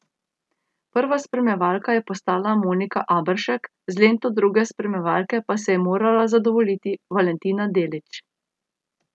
Prva spremljevalka je postala Monika Aberšek, z lento druge spremljevalke pa se je morala zadovoljiti Valentina Delić.